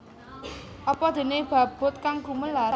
Apa déné babut kang gumelar